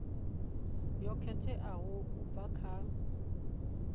yo khetheaho u bva kha